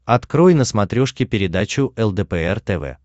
открой на смотрешке передачу лдпр тв